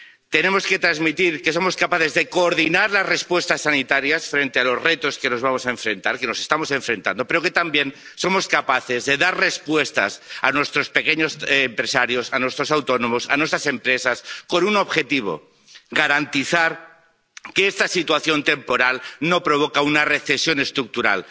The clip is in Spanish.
Tenemos que transmitir que somos capaces de coordinar las respuestas sanitarias frente a los retos que vamos a enfrentar, que estamos enfrentando, pero que también somos capaces de dar respuestas a nuestros pequeños empresarios, a nuestros autónomos, a nuestras empresas, con un objetivo garantizar que esta situación temporal no provoca una recesión estructural.